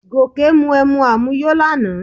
Gòkè mu emu àmuyó lánàá